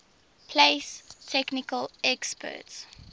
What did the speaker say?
place technical experts